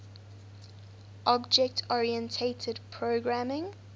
object oriented programming